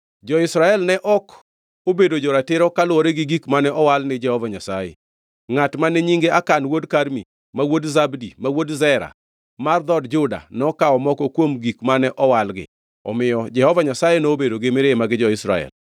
Jo-Israel ne ok obedo jo-ratiro kaluwore gi gik mane owal ni Jehova Nyasaye. Ngʼat mane nyinge Akan wuod Karmi, ma wuod Zabdi, ma wuod Zera, mar dhood Juda nokawo moko kuom gik mane owalgi. Omiyo Jehova Nyasaye nobedo gi mirima gi jo-Israel.